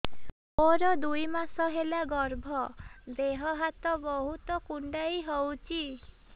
ମୋର ଦୁଇ ମାସ ହେଲା ଗର୍ଭ ଦେହ ହାତ ବହୁତ କୁଣ୍ଡାଇ ହଉଚି